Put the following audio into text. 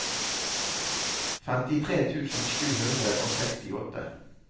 femtitre tusen sju hundre og sekstiåtte